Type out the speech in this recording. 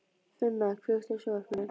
Finna, kveiktu á sjónvarpinu.